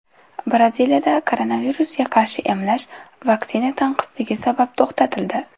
Braziliyada koronavirusga qarshi emlash vaksina tanqisligi sabab to‘xtatildi.